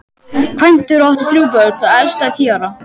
Kvæntur og átti þrjú börn, það elsta tíu ára.